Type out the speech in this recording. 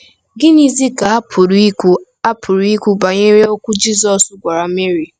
Gịnịzi ka a pụrụ ikwu a pụrụ ikwu banyere okwu Jizọs gwara Meri?